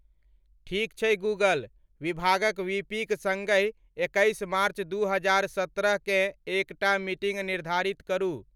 ठीक छै गूगल, विभागक वीपीक संगहि एक्कैस मार्च दू हजार सत्रहकेँ एकटा मीटिंग निर्धारित करू।